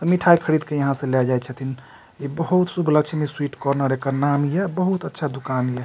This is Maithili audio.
मिठाई खरीद के यहां से लेय जाए छथिन इ बहुत शुभ लक्ष्मी स्वीट कार्नर एकर नाम ये बहुत अच्छा दुकान ये।